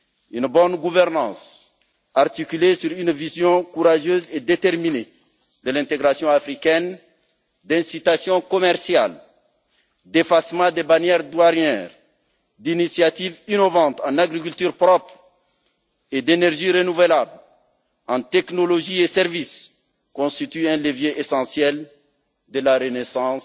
Une bonne gouvernance articulée sur une vision courageuse et déterminée de l'intégration africaine, des incitations commerciales, un effacement des barrières douanières, des initiatives innovantes en agriculture propre et énergies renouvelables, et des technologies et services constitue un levier essentiel de la renaissance